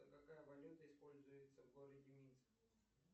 какая валюта используется в городе минск